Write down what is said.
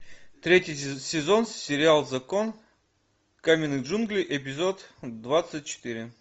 третий сезон сериал закон каменных джунглей эпизод двадцать четыре